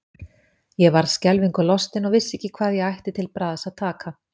Ég varð skelfingu lostin og vissi ekki hvað ég ætti til bragðs að taka.